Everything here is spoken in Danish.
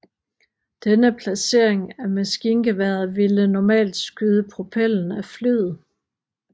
Denne placering af maskingeværet ville normalt skyde propellen af flyet